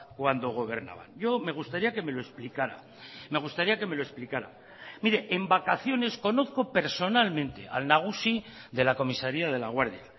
cuando gobernaban yo me gustaría que me lo explicara me gustaría que me lo explicara mire en vacaciones conozco personalmente al nagusi de la comisaría de laguardia